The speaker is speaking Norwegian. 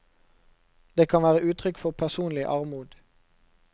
Det kan være uttrykk for personlig armod.